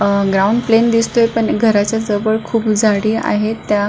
अ ground plain दिसतोय पण घरच्या जवळ खूप झाडी आहेत त्या--